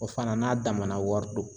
O fana n'a damana wari do.